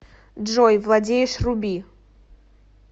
джой владеешь руби